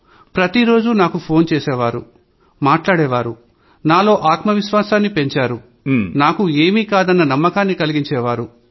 ప్రతిరోజూ నాకు ఫోన్ చేసి మాట్లాడేవాళ్లు నాలో ఆత్మవిశ్వాసాన్ని పెంచేవాళ్లు నాకు ఏమీ కాదన్న నమ్మకాన్ని కలిగించే వాళ్లు